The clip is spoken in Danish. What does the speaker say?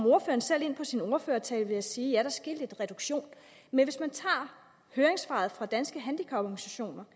selv ind på sin ordførertale ved at sige at der sker en reduktion men hvis man tager høringssvaret fra danske handicaporganisationer